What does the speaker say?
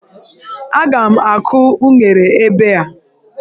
Aga m akụ unere ebe a.